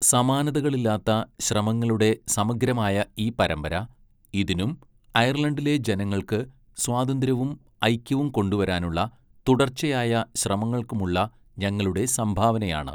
സമാനതകളില്ലാത്ത ശ്രമങ്ങളുടെ സമഗ്രമായ ഈ പരമ്പര ഇതിനും അയർലണ്ടിലെ ജനങ്ങൾക്ക് സ്വാതന്ത്ര്യവും ഐക്യവും കൊണ്ടുവരാനുള്ള തുടർച്ചയായ ശ്രമങ്ങൾക്കുമുള്ള ഞങ്ങളുടെ സംഭാവനയാണ്.